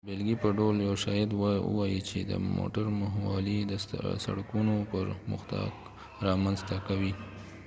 د بیلګې په ډول یو شاید ووایې چې موټر مهموالی د سړکونو پرمختګ رامنځته کوي